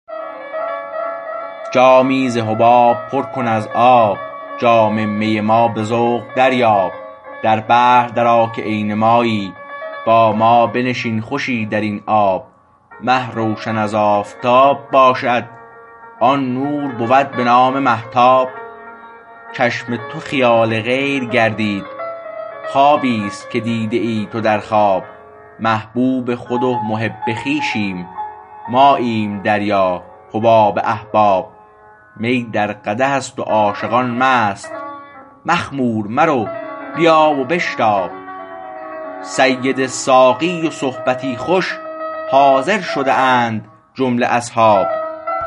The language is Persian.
جامی ز حباب پر کن از آب جام می ما به ذوق دریاب در بحر درآ که عین مایی با ما بنشین خوشی درین آب مه روشن از آفتاب باشد آن نور بود به نام مهتاب چشم تو خیال غیر گردید خوابی است که دیده ای تو در خواب محبوب خود و محب خویشیم ماییم دریا حباب احباب می در قدح است و عاشقان مست مخمور مرو بیا و بشتاب سید ساقی و صحبتی خوش حاضر شده اند جمله اصحاب